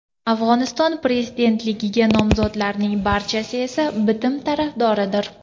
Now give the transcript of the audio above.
Afg‘oniston prezidentligiga nomzodlarning barchasi esa bitim tarafdoridir.